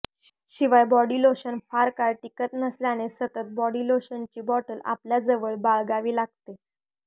शिवाय body lotion फार काळ टिकत नसल्याने सतत बॉडी लोशनची बॉटल आपल्या जवळ बाळगावी लागते